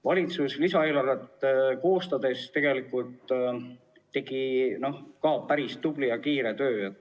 Valitsus tegi lisaeelarvet koostades tegelikult päris tublit ja kiiret tööd.